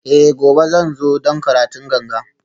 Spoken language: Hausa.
Eh gobe zan zo don karatun ganga